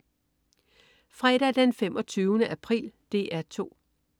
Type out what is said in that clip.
Fredag den 25. april - DR 2: